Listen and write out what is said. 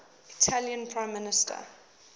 italian prime minister